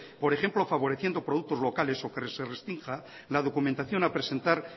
por ejemplo favoreciendo productos locales o que se restrinja la documentación a presentar